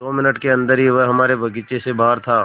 दो मिनट के अन्दर ही वह हमारे बगीचे से बाहर था